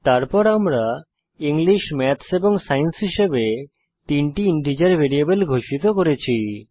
তারপর আমরা English maths এবং সায়েন্স হিসেবে তিনটি ইন্টিজার ভ্যারিয়েবল ঘোষিত করেছি